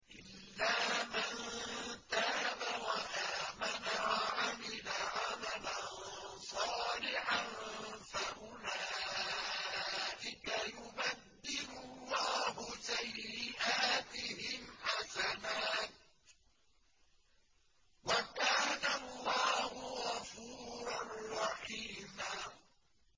إِلَّا مَن تَابَ وَآمَنَ وَعَمِلَ عَمَلًا صَالِحًا فَأُولَٰئِكَ يُبَدِّلُ اللَّهُ سَيِّئَاتِهِمْ حَسَنَاتٍ ۗ وَكَانَ اللَّهُ غَفُورًا رَّحِيمًا